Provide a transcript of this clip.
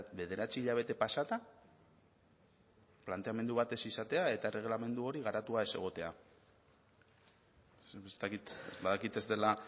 bederatzi hilabete pasata planteamendu bat ez izatea eta erregelamendu hori garatua ez egotea ez dakit badakit ez dela